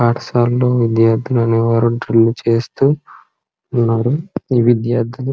పాఠశాలలు విద్యార్థులనేవారు చేస్తూ ఉన్నారు ఈ విద్యార్థులు--